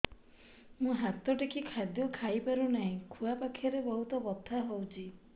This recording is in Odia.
ମୁ ହାତ ଟେକି ଖାଦ୍ୟ ଖାଇପାରୁନାହିଁ ଖୁଆ ପାଖରେ ବହୁତ ବଥା ହଉଚି